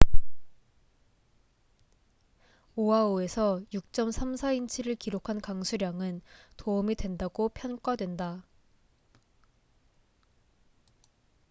오하우에서 6.34인치를 기록한 강수량은 도움이 된다고 평가된다